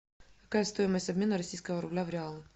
какая стоимость обмена российского рубля в реалы